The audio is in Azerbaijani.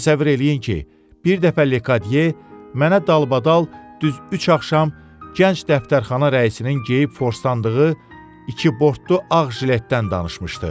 Təsəvvür eləyin ki, bir dəfə Lekodye mənə dalbadal düz üç axşam gənc dəftərxana rəisinin geyib forsdandığı iki bortlu ağ jiletdən danışmışdı.